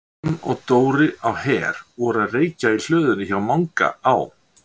Hann og Dóri á Her voru að reykja í hlöðunni hjá Manga á